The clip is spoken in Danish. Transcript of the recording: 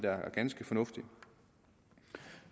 er ganske fornuftigt